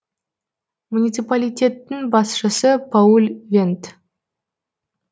муниципалитеттің басшысы пауль вендт